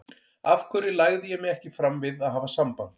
Af hverju lagði ég mig ekki fram við að hafa samband?